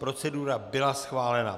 Procedura byla schválena.